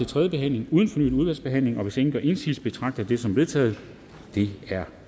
tredje behandling uden fornyet udvalgsbehandling hvis ingen gør indsigelse betragter jeg det som vedtaget det er